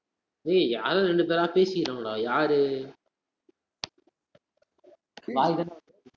டேய், யாரோ இரண்டு பேரா பேசிட்டு இருக்காங்கடா, யாரு